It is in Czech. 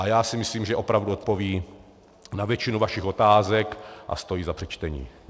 A já si myslím, že opravdu odpoví na většinu vašich otázek a stojí za přečtení.